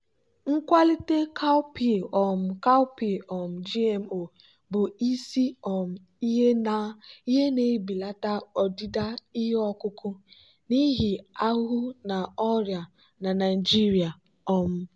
nkwalite cowpea um cowpea um gmo bụ isi um ihe na-ebelata ọdịda ihe ọkụkụ n'ihi ahụhụ na ọrịa na naijiria. um